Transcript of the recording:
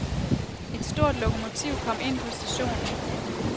Et stort lokomotiv kom ind på stationen.